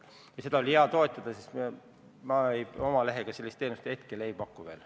Ja seda meedet oli hea toetada, sest ma oma lehega sellist teenust hetkel veel ei paku.